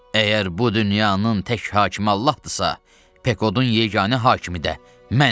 Əgər bu dünyanın tək hakimi Allahdırsa, Pekodun yeganə hakimi də mənəm.